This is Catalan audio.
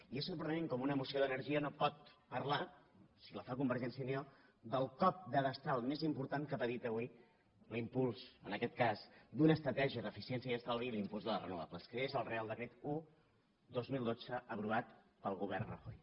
i és sorprenent com una moció d’energia no pot parlar si la fa convergència i unió del cop de destral més important que ha patit avui l’impuls en aquest cas d’una estratègia d’eficiència i estalvi l’impuls de les renovables que és el reial decret un dos mil dotze aprovat pel govern rajoy